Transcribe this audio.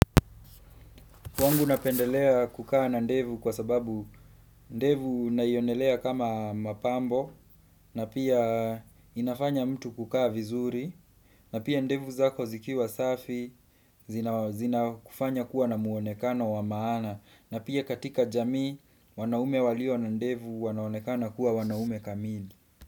Kwangu napendelea kukaa na ndevu kwa sababu ndevu naionelea kama mapambo na pia inafanya mtu kukaa vizuri na pia ndevu zako zikiwa safi zina kufanya kuwa na muonekana wa maana na pia katika jamii wanaume walio na ndevu wanaonekana kuwa wanaume kamili.